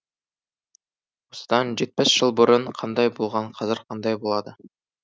осыдан жетпіс жыл бұрын қандай болған қазір қандай болды